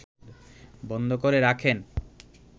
বন্ধ করে রাখেন